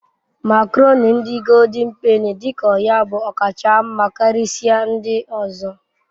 makoroni ndi goldin peni dik'oya bu okacha nma Karisia ndi ozo